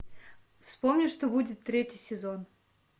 вспомни что будет третий сезон